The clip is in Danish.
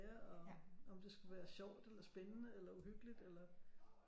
Og om det skulle være sjovt eller spændende eller uhyggeligt eller